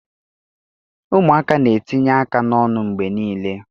Ụmụaka na-etinye aka n'ọnụ mgbe niile